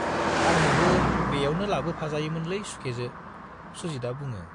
आंनोबो बेयावनो लाबोफाजायोमोनलै सुखेजो, सुजितआ बुङो।